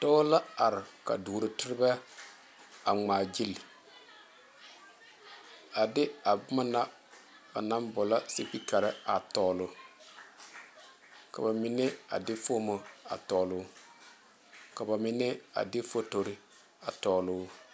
Dɔɔ la are ka doro terebɛ a ŋmaa gyile a de a boma na ba naŋ boɔlɔ sepikare a tɔɔlo ka ba mine a de fomo a tɔɔlo ka ba mine a de fotore a tɔɔlo.